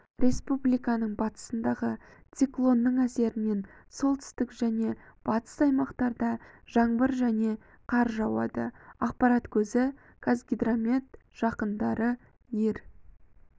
республиканың батысындағы циклонның әсерінен солтүстік және батыс аймақтарда жаңбыр және қар жауады ақпарат көзі қазгидромет жақындары ер